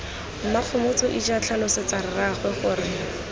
mmakgomotso ija tlhalosetsa rraago gore